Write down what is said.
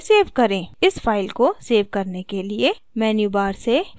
इस file को save करने के लिए menu bar से file पर click करें